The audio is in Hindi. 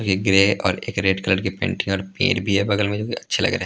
एक ग्रे और एक रेड कलर के पेंटिंग और पेर भी हैं बगल में जो अच्छे लग रहे हैं।